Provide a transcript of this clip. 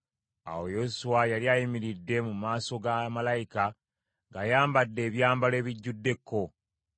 Awo Yoswa yali ayimiridde mu maaso ga malayika ng’ayambadde ebyambalo ebijjudde ekko.